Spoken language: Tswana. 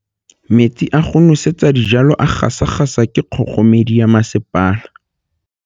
Metsi a go nosetsa dijalo a gasa gasa ke kgogomedi ya masepala.